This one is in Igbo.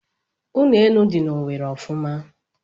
Ụlọ elu dị na Owerri ofuma.